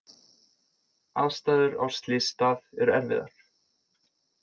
Aðstæður á slysstað eru erfiðar